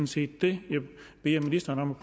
set det jeg beder ministeren om at